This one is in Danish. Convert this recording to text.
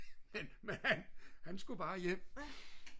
men han skulle bare hjem